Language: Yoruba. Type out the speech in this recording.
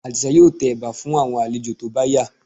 Àdìsá yóò tẹ ẹ̀bà fún àwọn àlejò tó bá yá